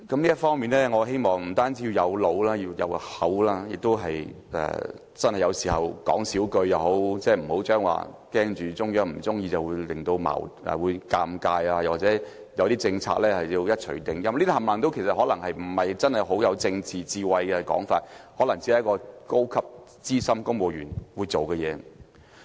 這方面，我希望這個特首不單要有腦，還要有口，有時候亦要少說話，不要怕中央不高興，感到尷尬或對某些政策要一錘定音，因為這全部可能不是很有政治智慧的說法，可能只是一名高級、資深公務員會做的事。